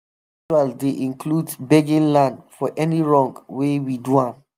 rain ritual dey include begging land for any wrong wey we do am.